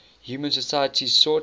human societies sought